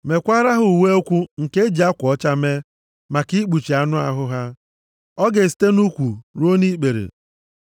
“Meekwara ha uwe ụkwụ nke eji akwa ọcha mee, maka ikpuchi anụ ahụ ha. Ọ ga-esite nʼukwu ruo nʼikpere.